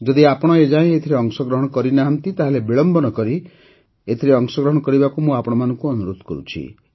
ଯଦି ଆପଣ ଏ ଯାଏଁ ଏଥିରେ ଅଂଶଗ୍ରହଣ କରିନାହାନ୍ତି ତାହେଲେ ବିଳମ୍ବ ନ କରି ଏଥିରେ ଅଂଶଗ୍ରହଣ କରିବାକୁ ମୁଁ ଆପଣଙ୍କୁ ଅନୁରୋଧ କରୁଛି